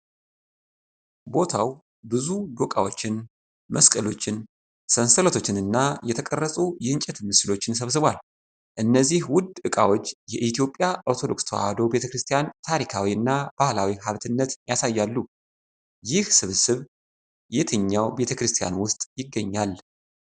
ቦታው ብዙ ዶቃዎችን፣ መስቀሎችን፣ ሰንሰለቶችንና የተቀረጹ የእንጨት ምስሎችን ሰብስቧል። እነዚህ ውድ ዕቃዎች የኢትዮጵያ ኦርቶዶክስ ተዋሕዶ ቤተ ክርስቲያን ታሪካዊ እና ባህላዊ ሀብትነት ያሳያሉ። ይህ ስብስብ የትኛው ቤተክርስቲያን ውስጥ ይገኛል?